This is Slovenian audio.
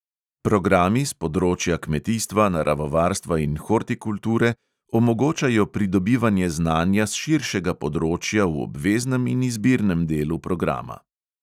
Programi s področja kmetijstva, naravovarstva in hortikulture omogočajo pridobivanje znanja s širšega področja v obveznem in izbirnem delu programa.